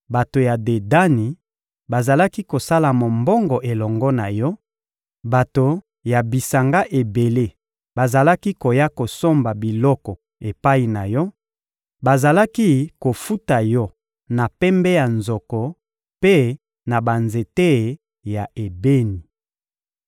Bato ya Dedani bazalaki kosala mombongo elongo na yo; bato ya bisanga ebele bazalaki koya kosomba biloko epai na yo, bazalaki kofuta yo na pembe ya nzoko mpe na banzete ya ebeni.